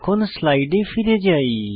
এখন স্লাইডে ফিরে যাই